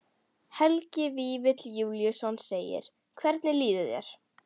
Helgi Vífill Júlíusson: Hvernig líður þér?